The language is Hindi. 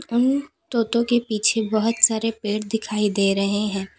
उन तोतों के पीछे बहुत सारे पेड़ दिखाई दे रहे हैं।